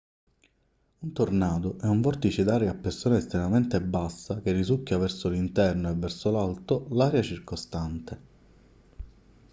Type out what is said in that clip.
un tornado è un vortice d'aria a pressione estremamente bassa che risucchia verso l'interno e verso l'alto l'aria circostante